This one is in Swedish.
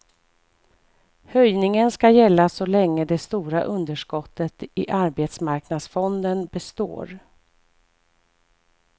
Höjningen skall gälla så länge det stora underskottet i arbetsmarknadsfonden består.